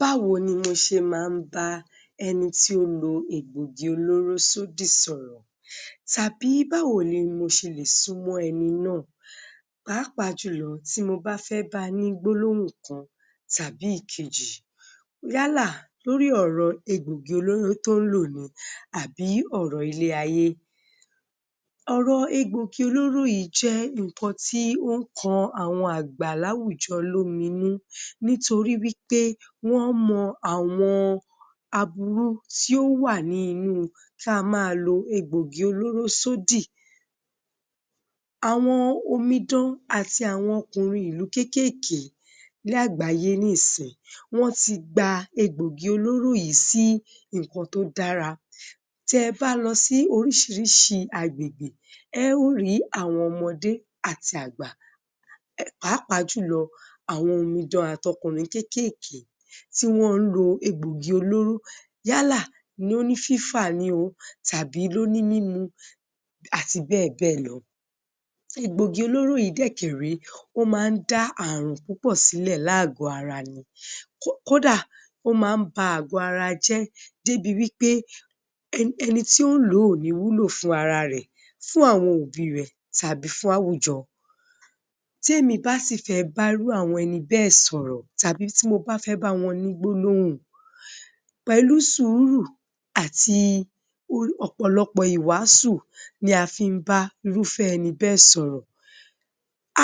Báwo ni mo ṣe máa ń bá ẹni tí ó lo egbògi olóró sódì sọ̀rọ̀ tàbí báwo ni mo ṣe lè súmọ́ ẹni náà pàápàá jùlọ tí mo ba fẹ́ ba ní gbólóhùn kan tàbí ìkejì yálà lórí ọ̀rọ̀ egbògi olóró tó ń lò ni àbí ọ̀rọ̀ ilé-ayé Ọ̀rọ̀ egbògi olóró yìí jẹ́ nkàn ti ó ń kọ àwọn àgbà láwùjọ lóminú nítorí wí pé wọ́n mọ àwọn aburú tí ó wà ní inú ka ma lo egbògì olóró sódì Àwọn omidan àti àwọn okùnrin ìlú kékèèké Ní àgbáyé nísìnyí wọ́n ti gba egbògi olóró yìí sí nǹkan tó dára tí ẹ bá lọ sí oríṣiríṣi agbègbè, ẹ́ ò ri àwọn ọmọdé àti àgbà pàápàá jùlọ àwọn omidan àti okùnrin kékèéké tí wọ́n ń lo egbògì olóró yálà lóní fífà ni o tàbí lóní mímu àti bẹ́ẹ̀ béè lọ Egbògi olóró yìí dẹ́kẹ̀ré, ó má ń dá àrùn púpọ̀ sílẹ̀ láàgó ara ni kódà ó máa ń ba àgọ̀ ara jẹ́ débi wí pé ẹnití ó ǹ ló ò ní wúlò fún ara ẹ̀, fún àwọn òbí rẹ̀, tàbí fún àwùjọ tí èmi bá sì fẹ́ bá irú àwọn ẹni bẹ́ sọ̀rọ̀ tàbí tí mo bá fẹ́ bá wọn ní gbólóhùn pẹ̀lú sùúrù àti ọ̀pọ̀lọpọ̀ ìwásù ni a fí ń bá irufẹ́ ẹnibẹ́ sọ̀rọ̀